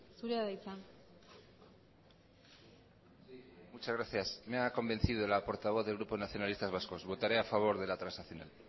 zurea da hitza sí muchas gracias me ha convencido la portavoz del grupo nacionalistas vascos votaré a favor de la transaccional